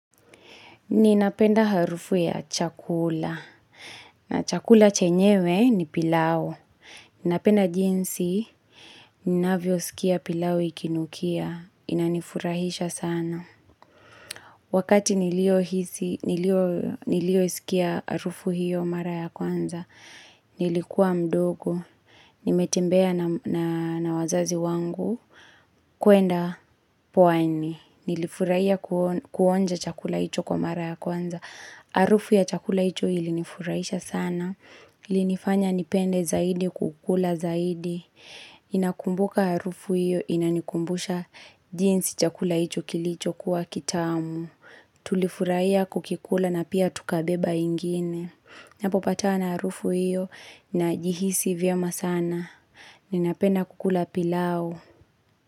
Ninapenda harufu ya chakula. Na chakula chenyewe ni pilau. Ninapenda jinsi, ninavyosikia pilau ikinukia. Inanifurahisha sana. Wakati niliosikia harufu hiyo mara ya kwanza, nilikuwa mdogo. Nimetembea na wazazi wangu kuenda pwani. Nilifurahia kuonja chakula hicho kwa mara ya kwanza. Arufu ya chakula hicho ilinifurahisha sana. Ilinifanya nipende zaidi kukula zaidi. Inakumbuka arufu hiyo inanikumbusha jinsi chakula hicho kilichokuwa kitamu. Tulifurahia kukikula na pia tukabeba ingine. Napopatana na arufu iyo najihisi vyema sana. Ninapenda kukula pilau.